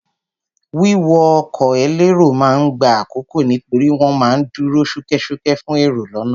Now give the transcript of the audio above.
Wíwọ ọkọ̀ elérò ma ń gba àkókò nítorí wọ́n ma ń dúró ṣúkẹ́ṣúkẹ́ fún èrò lọ́nà.